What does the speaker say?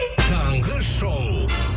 таңғы шоу